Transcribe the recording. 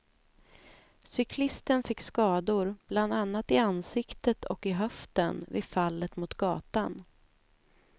Cyklisten fick skador, bland annat i ansiktet och i höften, vid fallet mot gatan.